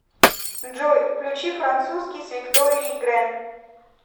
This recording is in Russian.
джой включи французский с викторией грэн